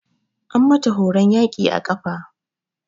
An mata horon yaƙi a ƙafa.